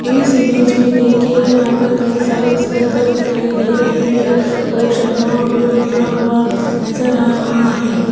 इस इमेज में दिखियेगा यहां पर कई सारे स्पीकर दिखाई दे रहे हैं और शर्मा ऑडियो लिखा हुआ नजर आ रहा है।